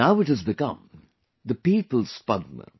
Now it has become the People's Padma